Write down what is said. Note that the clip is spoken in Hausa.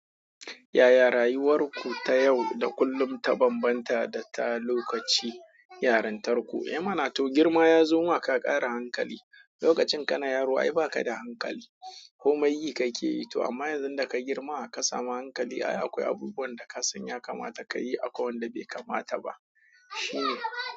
Yaya rayuwar ku ta yau da kullum ta bambanta da ta lokacin yarintarku? Eh mana to girma ya zo ma ka ƙara hankali. Lokacin kana yaro ai ba ka da hankali. Komai yi ka ke yi to amma yanzu da ka girma ka samu hankali, ai akwai abubuwan da ka san ya kamata ka yi akwai wanda bai kamata ba.